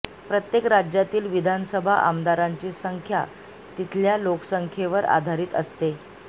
प्रत्येक राज्यातील विधानसभा आमदारांची संख्या तिथल्या लोकसंख्येवर आधारित असते